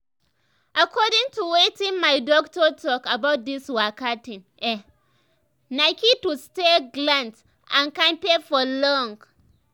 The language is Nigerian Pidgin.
according to weitin my doctor talk about this waka thing ehh na key to stay gallant and kampe for long.